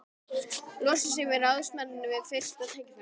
Losa sig við ráðsmanninn við fyrsta tækifæri.